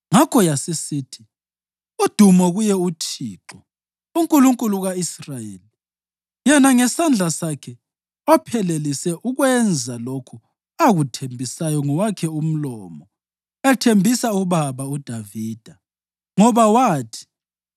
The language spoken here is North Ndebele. Ngakho yasisithi: “Udumo kuye uThixo, uNkulunkulu ka-Israyeli, yena ngesandla sakhe ophelelise ukwenza lokho akuthembisa ngowakhe umlomo ethembisa ubaba uDavida. Ngoba wathi,